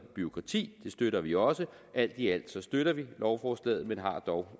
bureaukrati det støtter vi også alt i alt støtter vi lovforslaget men har dog